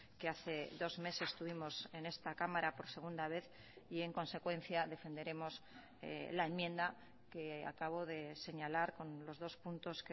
que hace dos meses tuvimos en esta cámara por segunda vez y en consecuencia defenderemos la enmienda que acabo de señalar con los dos puntos